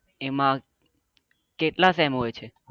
એમાં કેટલા સેમ હોય છે?